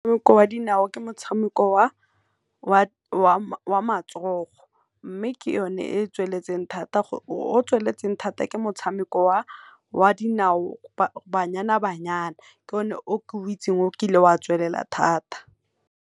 Motshameko wa dinao ke motshameko wa matsogo mme ke yone e e tsweletseng thata. O o tsweletseng thata ke motshameko wa dinao Banyana Banyana ke o ne o ke itseng o kile wa tswelela thata.